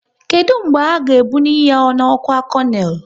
Kedụ mgbe a ga ebnuyi ha n'ọkwá konel?